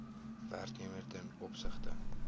werknemer ten opsigte